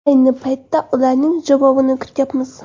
Ayni paytda ularning javobini kutyapmiz.